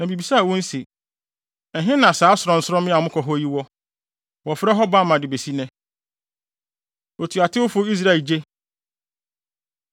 Na mibisaa wɔn se: Ɛhe ne saa sorɔnsorɔmmea a mokɔ hɔ yi?’ ” (Wɔfrɛ hɔ Bama de besi nnɛ.) Otuatewfo Israel Gye